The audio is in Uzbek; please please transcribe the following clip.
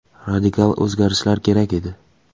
Radikal o‘zgarishlar kerak edi.